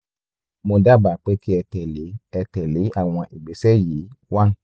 mo dábàá pé kí ẹ tẹ̀lé ẹ tẹ̀lé àwọn ìgbésẹ̀ yìí one